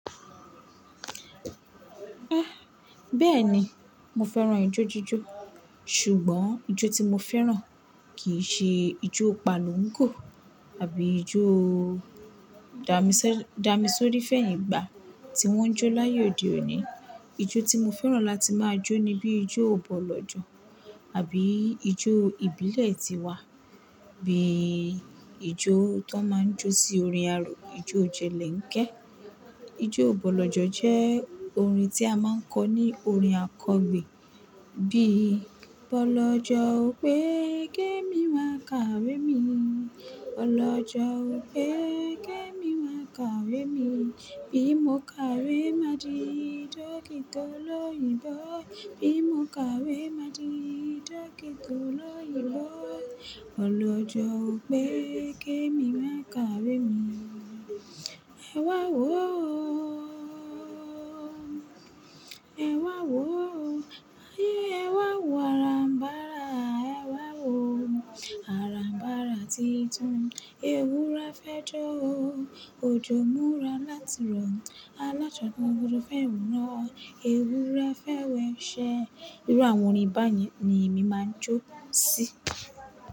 Ẹ́. Bẹ́ẹ̀ni mo fẹ́ràn ijó jíjó ṣùgbọ́n ijó tí mo fẹ́ràn kì í ṣe ijó pálùńgò tàbí ijó dàmìsó-dàmìsórí fẹ̀yìn gbà tí wọ́n ń jó láàye òde òní. Ijó tí mo fẹ́ràn láti máa jó ni bí ijó bọlọ́jọ̀ àbí ijó ìbílẹ̀ tiwa bí ijó tó máa ń jó sí orin arò, ijó jẹ́lènkẹ́. Ijó bọlọ́jọ̀ jẹ́ orin tí a máa ń kọ ní orin àkọgbẹ́ bí bọlọ́jọ̀ ó pé kẹ mi máa kàwé mi, bọlọ́jọ̀ ó pé kẹ mi máa kàwé mi. Bí mo kàwé, má di dọ́kítà olóyìnbó. Bí mo kàwé, má di dọ́kítà olóyìnbó. Bọlọ́jọ̀ ó pé kẹ mi máa kàwé mi. Ẹ wá wò o. Ẹ wá wò o. Ayé ẹ wá wò ará mbara. Ẹ wá wò ará mbara titun. Ewúre fẹ́ jó o. Ojo múra láti rọ̀. Aláṣọ tó ń burú fẹ́ wu rọ. Ewúre fẹ́ wẹ se. Irú àwọn orin báyìí ni èmi máa ń jó sí.